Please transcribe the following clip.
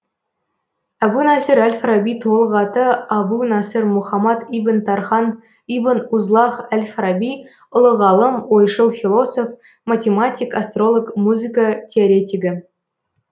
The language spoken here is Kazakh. әбу насыр әл фараби толық аты әбу насыр мұхаммад ибн тархан ибн узлағ әл фараби ұлы ғалым ойшыл философ математик астролог музыка теоретигі